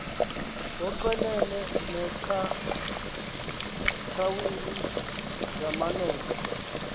ngoochwenene neengcathawuli zamanene